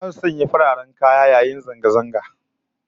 Zasu sanya fararen kaya yayin zanga zangan